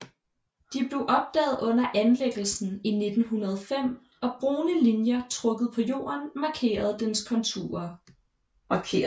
De blev opdaget under anlæggelsen i 1905 og brune linjer trukket på jorden markerer deres konturer